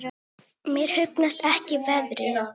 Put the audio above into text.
Mér hugnast ekki veðrið.